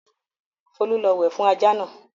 Folú lọ wẹ̀ fún ajá náà!